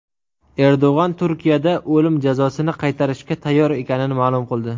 Erdo‘g‘on Turkiyada o‘lim jazosini qaytarishga tayyor ekanini ma’lum qildi.